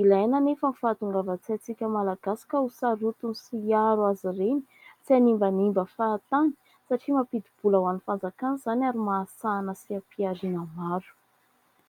Ilaina nefa ny fahatongavan-tsaintsika Malagasy ka ho sarotiny sy hiaro azy ireny, tsy hanimbanimba fahatany satria mampidi-bola ho an'ny fanjakana izany ary mahasarika seha-pihariana maro.